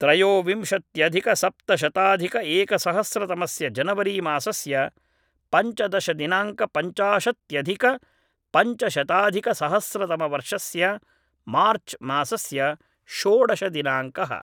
त्रयोविंशत्यधिकसप्तशताधिक एकसहस्रतमस्य जनवरी मासस्य पञ्चदशदिनाङ्क पञ्चाशत्यधिक पञ्चशताधिकसहस्रतमवर्षस्य मार्च् मासस्य षोडशदिनाङ्कः